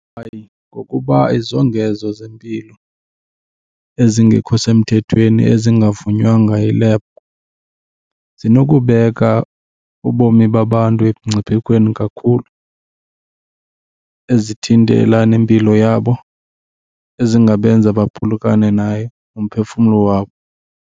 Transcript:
Hayi, ngokuba izongezo zempilo ezingekho semthethweni ezingavunywanga yilebhu zinokubeka ubomi babantu emngciphekweni kakhulu ezithintela nempilo yabo, ezingabenza baphulukane naye umphefumlo wabo.